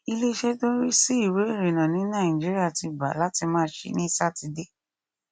iléeṣẹ tó ń rí sí ìwé ìrìnnà ní nàìjíríà ti gbà láti máa ṣí ní sátidé